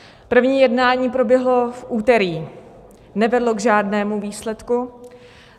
První jednání proběhlo v úterý, nevedlo k žádnému výsledku.